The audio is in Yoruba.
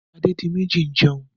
Ṣé Adédiméjì ti ń jẹun?